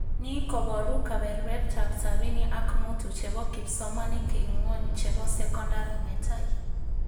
Ni kobaru kebebertaab sabini ak mutu chebo kipsomanink eng ngwony chebo sokondar netai?